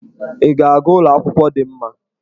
Ị ga-aga ụlọ akwụkwọ dị mma?